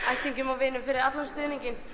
ættingjum og vinum fyrir allan stuðninginn